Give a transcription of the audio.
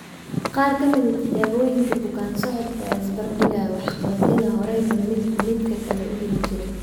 Qaar ka mid ah tijaabooyinka bukaan-socodka ayaa isbarbar dhigaya waxqabadyada horayba midba midka kale u heli jiray.